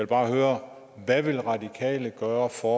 bare høre hvad vil radikale gøre for